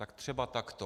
Tak třeba takto.